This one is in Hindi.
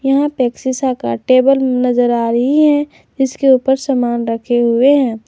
यहां पे एक शीशा का टेबल नजर आ रही है जिसके ऊपर सामान रखे हुए हैं।